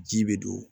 Ji bɛ don